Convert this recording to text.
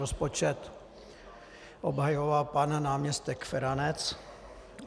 Rozpočet obhajoval pan náměstek Feranec.